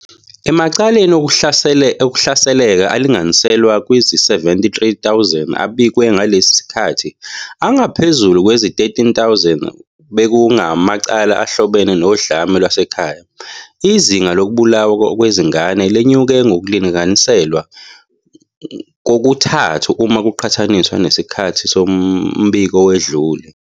Emacaleni okuhlasela alinganiselwa kwizi-73 000 abikwe ngalesi sikhathi, angaphezu kwezi-13 000 bekungamacala ahlobene nodlame lwasekhaya. Izinga lokubulawa kwezingane lenyuke ngokulinganiselwa kokuthathu uma kuqhathaniswa nesikhathi sombiko owedlule.